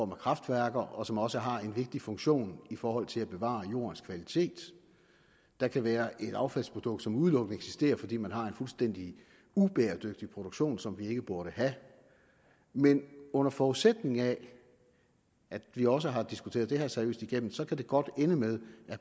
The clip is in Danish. på kraftværker og som også har en vigtig funktion i forhold til at bevare jordens kvalitet der kan være et affaldsprodukt som udelukkende eksisterer fordi man har en fuldstændig ubæredygtig produktion som man ikke burde have men under forudsætning af at vi også har diskuteret det her seriøst igennem så kan det godt ende med